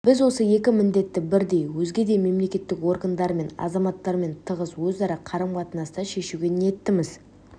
біз осы екі міндетті бірдей өзге де мемлекеттік органдар және азаматтармен тығыз өзара қарым-қатынаста шешуге ниеттіміз